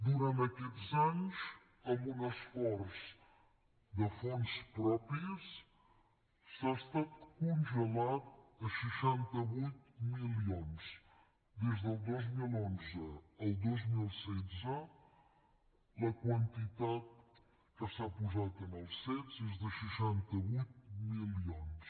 durant aquests anys amb un esforç de fons propis ha estat congelat a seixanta vuit milions des del dos mil onze al dos mil setze la quantitat que s’ha posat en els cet és de seixanta vuit milions